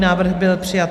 Návrh byl přijat.